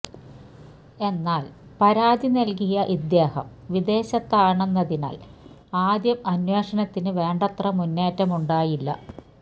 എന്നാൽ പരാതി നൽകിയ ഇദ്ദേഹം വിദേശത്താണെന്നതിനാൽ ആദ്യം അന്വേഷണത്തിനു വേണ്ടത്ര മുന്നേറ്റമുണ്ടായില്ല